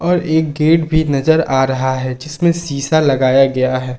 और एक गेट भी नजर आ रहा है जिसमें शीशा लगाया गया है।